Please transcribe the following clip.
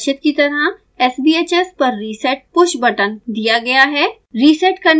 चित्र में प्रदर्शित की तरह sbhs पर reset पुश बटन दिया गया है